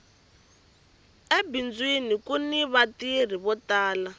ebindzwini kuni va tirhi vo tala